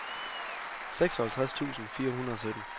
seksoghalvtreds tusind fire hundrede og sytten